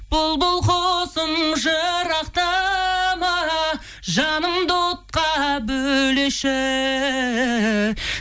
бұлбұл құсым жырақтама жанымды отқа бөлеші